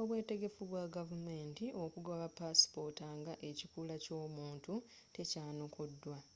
obwetegefu bywa gavumenti okugaba pasipoota nga ekikula ky’omuntu tekyanukuddwa x